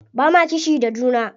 Ba ma kishi da juna.